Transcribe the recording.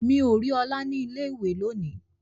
Mi o ri ọlá ni ilé ìwé lóni.